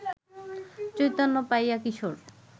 চৈতন্য পাইয়া কিশোর